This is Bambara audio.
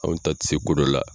Anw ta tɛ se ko dɔ la.